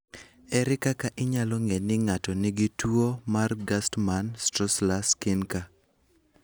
Ere kaka inyalo ng'e ni ng'ato nigi tuwo mar Gerstmann Straussler Scheinker?